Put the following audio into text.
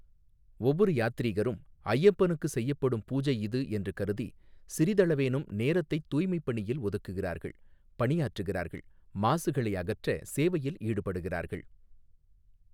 ஒவ்வொரு யாத்ரீகரும், ஐயப்பனுக்கு செய்யப்படும் பூஜை இது என்று கருதி, சிறிதளவேனும் நேரத்தைத் தூய்மைப்பணியில் ஒதுக்குகிறார்கள், பணியாற்றுகிறார்கள், மாசுகளை அகற்ற சேவையில் ஈடுபடுகிறார்கள்.